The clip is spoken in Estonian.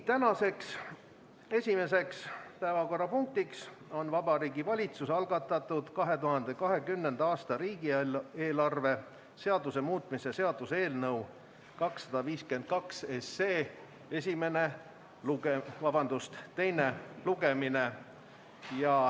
Tänane esimene päevakorrapunkt on Vabariigi Valitsuse algatatud 2020. aasta riigieelarve seaduse muutmise seaduse eelnõu 252 teine lugemine.